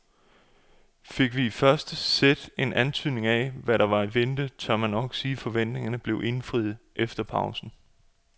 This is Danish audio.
Fik vi i første sæt en antydning af hvad der var i vente, tør man nok sige at forventningerne blev indfriet efter pausen.